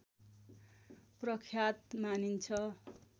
प्रख्यात मानिन्छ